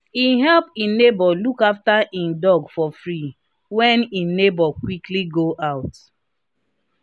he help e neighbour look after e dog for free when e neighbour quickly go out.